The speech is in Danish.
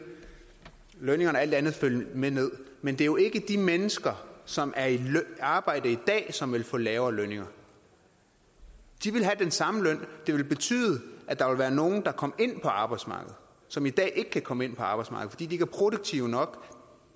lønningerne alt andet lige følge med ned men det er jo ikke de mennesker som er i arbejde i dag som vil få lavere lønninger de vil have den samme løn det vil betyde at der vil være nogle der kommer ind på arbejdsmarkedet som i dag ikke kan komme ind på arbejdsmarkedet fordi de ikke er produktive nok